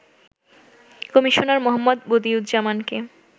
Commissioner মো. বদিউজ্জামানকে